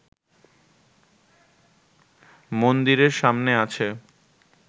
মন্দিরের সামনে আছে